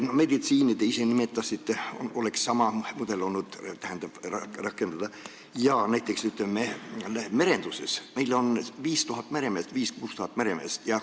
Te ise nimetasite meditsiini, kus tuleks sama mudelit rakendada, aga näiteks merenduses on meil 5000–6000 meremeest.